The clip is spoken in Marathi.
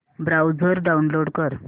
ब्राऊझर डाऊनलोड कर